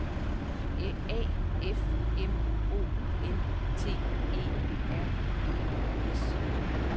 A F M O N T E R E S